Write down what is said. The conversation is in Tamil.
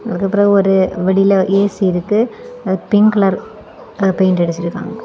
அதுக்கப்பறொ ஒரு வெளியில ஏ_சி இருக்கு அதுக்கு பிங்க் கலர் பெயிண்ட் அடிச்சு இருக்காங்க.